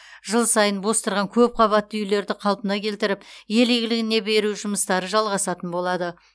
жыл сайын бос тұрған көпқабатты үйлерді қалпына келтіріп ел игілігіне беру жұмыстары жалғасатын болады